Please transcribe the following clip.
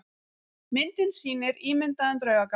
Myndin sýnir ímyndaðan draugagang.